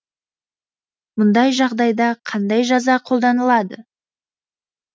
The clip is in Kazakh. мұндай жағдайда қандай жаза қолданылады